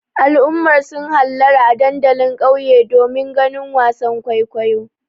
Al'ummar sun hallara a dandalin ƙauye domin ganin wasan kwaikwayon.